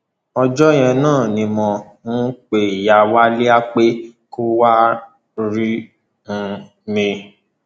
ọjọ yẹn náà ni mo um pe ìyá wálíà pé kó wáá rí um mi